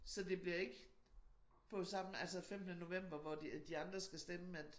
Så det bliver ikke på samme altså femtende november hvor de andre skal stemme at